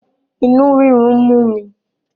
inú rírun ń mu.